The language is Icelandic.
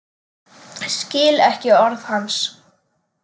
Skil ekki orð hans.